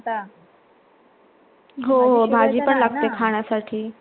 हो हो भाजी पण लागते खाण्यासाठी